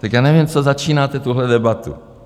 Tak já nevím, co začínáte tuhle debatu.